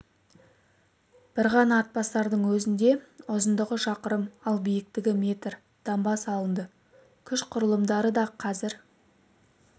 бір ғана атбасардың өзінде ұзындығы шақырым ал биіктігі метр дамба салынды күш құрылымдары да қазір